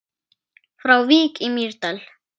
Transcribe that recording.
Frá Vík í Mýrdal